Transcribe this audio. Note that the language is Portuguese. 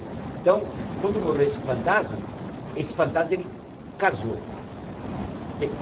Então, quando morreu esse fantasma, esse fantasma ele casou.